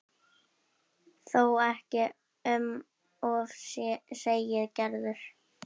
Þó ekki um of segir Gerður.